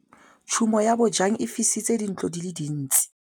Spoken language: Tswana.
Tshumô ya bojang e fisitse dintlo di le dintsi.